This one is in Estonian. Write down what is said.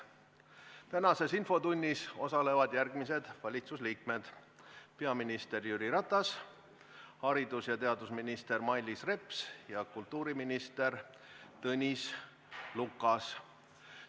Tänases infotunnis osalevad järgmised valitsusliikmed: peaminister Jüri Ratas, haridus- ja teadusminister Mailis Reps ja kultuuriminister Tõnis Lukas.